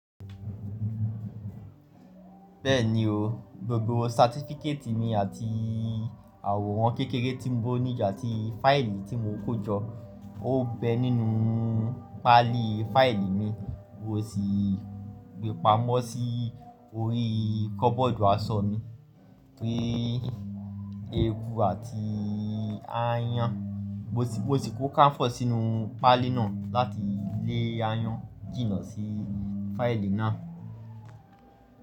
Bẹ́ẹ̀ni o. Gbogbo satifíkétì mi àti àwòrán kékeré tí mo níidi ati fáìlì tí mo kó jọ ó bẹ nínú pálí fáìlì mi, mo sì gbé pamọ́ sí orí kọ́bọ́ọ̀dù aṣọ mi. Ki eku àti ááyán, mo sì kó káńfọ̀ sínú pálí náà láti lé ááyán jìnnà sí fáìlì náà.